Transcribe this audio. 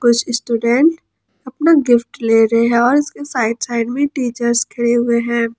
कुछ स्टूडेंट अपना गिफ्ट ले रहे हैं और उसके साइड साइड में टीचर्स खड़े हुए हैं।